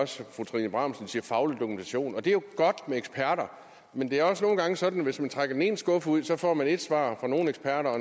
også fru trine bramsen sige faglig dokumentation og det er jo godt med eksperter men det er også nogle gange sådan at hvis man trækker den ene skuffe ud får man et svar fra nogle eksperter og